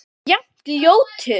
Ennþá jafn ljótur.